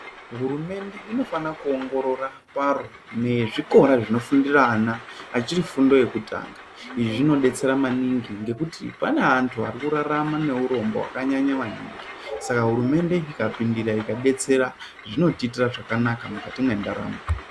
Hurumende inofana kuongorora paro nezvikora zvinofundira ana achiri fundo yekutanga. Izvi zvinodetsera maningi ngekuti pane antu ari kurarama neuronbo hwakanyanya maningi saka hurumende ikapindira ikadetsera zvinotiitira zvakanaka mukati mwendaramo.